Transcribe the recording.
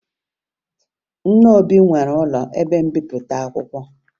Nna Obi nwere ụlọ ebe mbipụta akwụkwọ